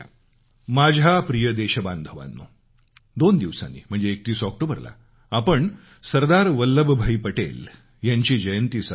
माझ्या प्रिय देशबांधवानो दोन दिवसांनी म्हणजे 31 ऑक्टोबरला आपण सरदार वल्लभभाई पटेलजींची जन्मजयंती साजरी करू